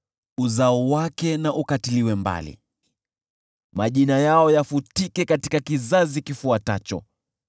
Uzao wake na ukatiliwe mbali, majina yao yafutike katika kizazi kifuatacho.